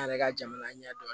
An yɛrɛ ka jamana ɲɛ dɔn